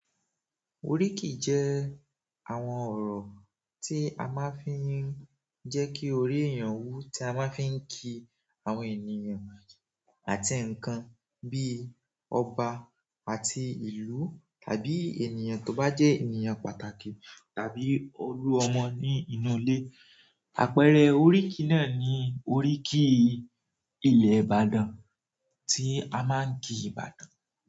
Oríkì jẹ́ àwọn ọ̀rọ̀ tí a máa ń fi ń jẹ́ kí orí èèyàn wú, tí a máa ń fi ń ki àwọn ènìyàn àti nǹkan bíi ọba àti ìlú tàbí ènìyàn tó bá jẹ́ ènìyàn pàtàkì tàbí olú ọmọ ní inú ilé. Àpẹẹrẹ oríkì náà ni oríkì Ilẹ̀ Ìbàdàn tí a máa ń ki Ìbàdàn.